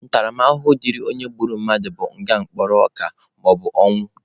Ntaramahụhụ dịrị onye gburu mmadụ bụ nga mkpụrụ ọka maọbụ ọnwụ.